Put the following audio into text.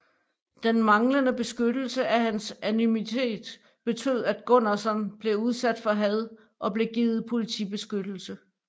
Den manglende beskyttelse af hans anonymitet betød at Gunnarsson blev udsat for had og blev givet politibeskyttelse